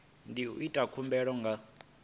ndi u ita khumbelo nga